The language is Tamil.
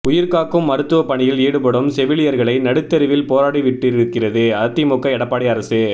உயிர் காக்கும் மருத்துவப் பணியில் ஈடுபடும் செவிலியர்களை நடுத்தெருவில் போராடவிட்டிருக்கிறது அதிமுக எடப்பாடி அரசு